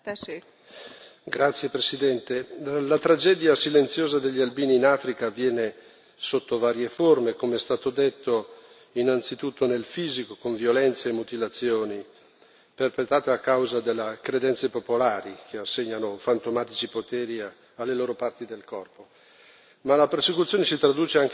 Signora Presidente, onorevoli colleghi, la tragedia silenziosa degli albini in Africa avviene sotto varie forme, come è stato detto, innanzitutto nel fisico, con violenze e mutilazioni perpetrate a causa delle credenze popolari che assegnano fantomatici poteri alle loro parti del corpo.